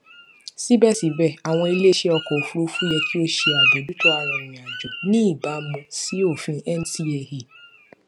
síbẹsíbẹ àwọn iléiṣẹ ọkọ òfurufú yẹ kí ó ṣe àbójútó arìnrìnàjò ní ìbámu sí òfin ncaa